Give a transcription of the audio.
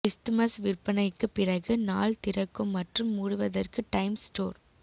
Christmas விற்பனைக்குப் பிறகு நாள் திறக்கும் மற்றும் மூடுவதற்கு டைம்ஸ் ஸ்டோர்